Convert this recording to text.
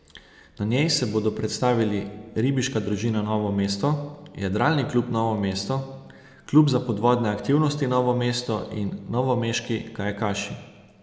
Na njej se bodo predstavili Ribiška družina Novo mesto, Jadralni klub Novo mesto, Klub za podvodne aktivnosti Novo mesto in novomeški kajakaši.